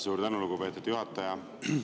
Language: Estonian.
Suur tänu, lugupeetud juhataja!